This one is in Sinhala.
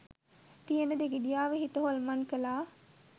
තියෙන දෙගිඩියාව හිත හොල්මන් කලා.